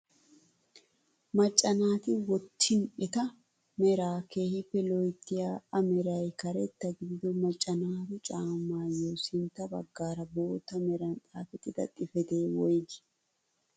Macca naati wottin eta meraa keehippe loyttiyaa a meray karetta gidido macca naatu caammayoo sintta baggaara bootta meran xaafettida xifatee woygii?